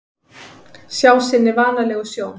Sjá sinni vanalegu sjón.